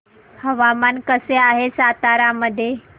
हवामान कसे आहे सातारा मध्ये